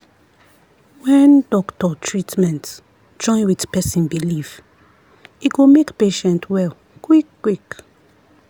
when doctor treatment join with person belief e go make patient well quick-quick.